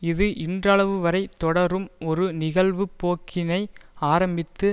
இது இன்றளவுவரை தொடரும் ஒரு நிகழ்வுப்போக்கினை ஆரம்பித்தது